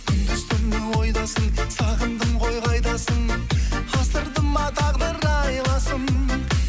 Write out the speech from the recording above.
күндіз түні ойдасың сағындым ғой қайдасың асырды ма тағдыр айласын